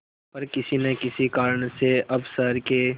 पर किसी न किसी कारण से अब शहर के